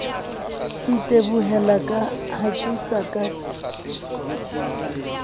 itebohela ha ke sa ka